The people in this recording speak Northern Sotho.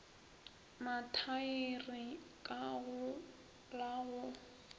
mathaere ka go la go